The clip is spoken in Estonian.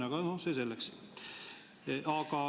Aga see selleks.